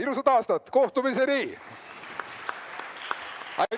Ilusat aastat!